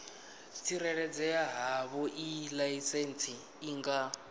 tsireledzea havhoiyi laisentsi i nga